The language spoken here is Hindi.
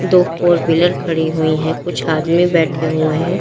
दो फोरव्हीलर खड़ी हुई है कुछ आदमी बैठे हुए हैं।